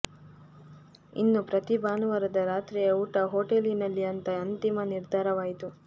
ಇನ್ನು ಪ್ರತೀ ಭಾನುವಾರದ ರಾತ್ರಿಯ ಊಟ ಹೋಟೇಲಿನಲ್ಲಿ ಅಂತ ಅಂತಿಮ ನಿರ್ಧಾರವಾಯಿತು